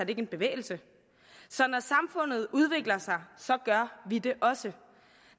ikke en bevægelse så når samfundet udvikler sig gør vi det også